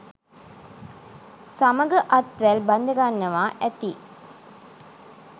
සමග අත්වැල් බැදගන්නවා ඇති